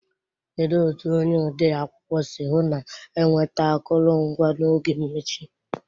Kedu otu onye ọdee akwụkwọ si hụ na enweta akụrụngwa n'oge mmechi?